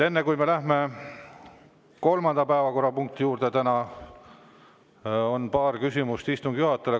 Enne kui me läheme kolmanda päevakorrapunkti juurde, on paar küsimust istungi juhatajale.